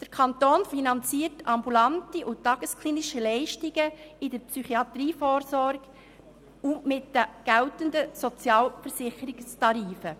Der Kanton finanziert ambulante und tagesklinische Leistungen in der Psychiatrievorsorge mit den geltenden Sozialversicherungstarifen.